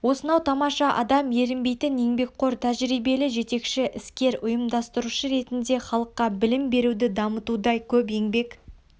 осынау тамаша адам ерінбейтін еңбекқор тәжірибелі жетекші іскер ұйымдастырушы ретінде халыққа білім беруді дамытуда көп еңбек